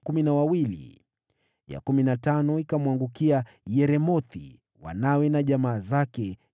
ya kumi na tano ikamwangukia Yeremothi, wanawe na jamaa zake, 12